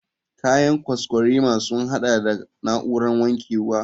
Kayan kwaskwarima sun haɗa da na'urar wankewa.